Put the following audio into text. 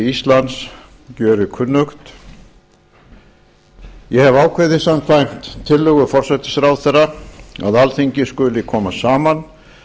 íslands gjörir kunnugt ég hefi ákveðið samkvæmt tillögu forsætisráðherra að alþingi skuli koma saman